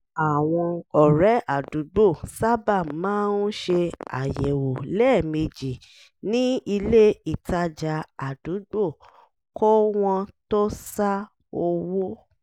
àwọn ọ̀rẹ́ àdúgbò sábà máa ń ṣe àyẹ̀wò lẹ́ẹ̀mejì ní ilé ìtajà àdúgbò kó wọ́n tó sá owó